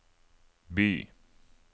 by